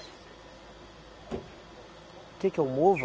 Que que é o Mova?